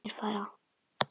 Þeir fara.